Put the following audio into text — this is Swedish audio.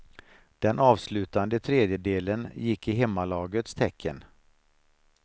Den avslutande tredjedelen gick i hemmalagets tecken.